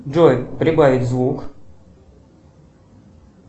джой прибавить звук